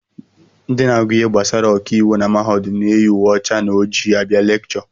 Ndị na-agụ ihe gbasara ọkàiwu na mahadum na-eyi uwe ọcha na ojii abịa lekchọ